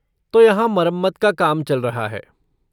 तो यहाँ मरम्मत का काम चल रहा है।